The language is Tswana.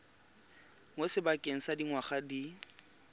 mo sebakeng sa dingwaga di